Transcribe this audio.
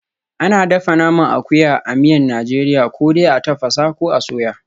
Ana dafa naman akuya a miyan Najeriya ko dai a tafasa, ko a soya.